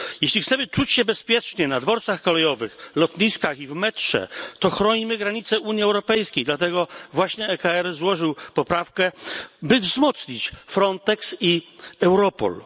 Jeśli chcemy czuć się bezpiecznie na dworcach kolejowych, lotniskach i w metrze, to chronimy granice Unii Europejskiej, dlatego właśnie EKR złożył poprawkę by wzmocnić Frontex i Europol.